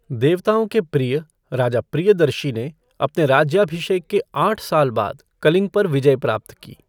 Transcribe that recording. देवताओं के प्रिय, राजा प्रियदर्शी ने अपने राज्याभिषेक के आठ साल बाद कलिंग पर विजय प्राप्त की।